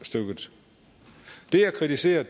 stykket det jeg kritiserer